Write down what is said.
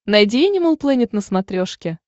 найди энимал плэнет на смотрешке